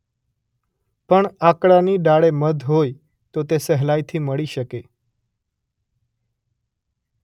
પણ આકડાની ડાળે મધ હોય તો તે સહેલાઇથી મળી શકે.